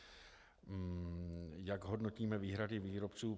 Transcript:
Jak hodnotíme výhrady výrobců.